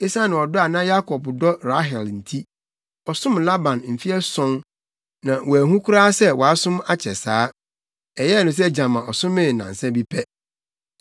Esiane ɔdɔ a na Yakob dɔ Rahel nti, ɔsom Laban mfe ason, na wanhu koraa sɛ wasom akyɛ saa. Ɛyɛɛ no sɛ gyama ɔsomee nnansa bi pɛ.